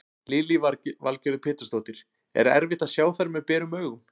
Lillý Valgerður Pétursdóttir: Er erfitt að sjá þær með berum augum?